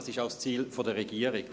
es ist auch das Ziel der Regierung.